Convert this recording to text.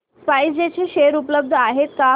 spice jet चे share उपलब्ध आहेत का